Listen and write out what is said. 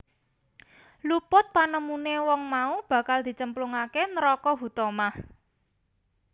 Luput panemune wong mau bakal dicemplungake neraka Huthomah